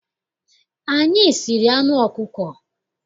Anyị siri anụ ọkụkọ.